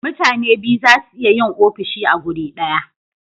mutane biyu zasu iya yin ofishi a guri daya